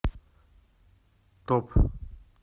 топ